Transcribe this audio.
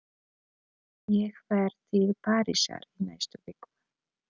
Ég fer til Parísar í næstu viku.